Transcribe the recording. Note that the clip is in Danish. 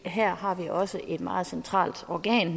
her har vi også et meget centralt organ